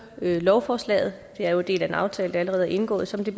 lovforslaget det er jo en del af den aftale der allerede er indgået som det